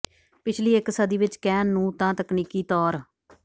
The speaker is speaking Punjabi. ਪਿਛਲੀ ਇੱਕ ਸਦੀ ਵਿੱਚ ਕਹਿਣ ਨੂੰ ਤਾਂ ਤਕਨੀਕੀ ਤੌਰ